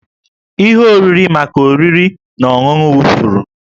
Ihe oriri maka oriri na ọṅụṅụ wụfuru